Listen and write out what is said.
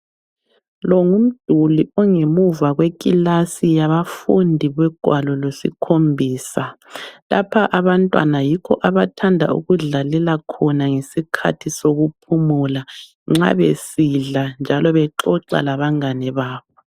Lo ngumduli ongemuva kwekilasi yabafundi logwalo lwesikhombisa. Lapha abantwana yikho abathanda ukudlalela khona ngesikhathi sokuphumula nxa besidla njalo bexoxa labangane babo.